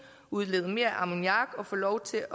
udlede mere ammoniak og få lov til